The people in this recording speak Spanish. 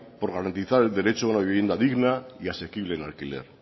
por garantizar el derecho a una vivienda digna y asequible en alquiler